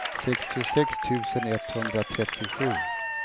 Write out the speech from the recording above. sextiosex tusen etthundratrettiosju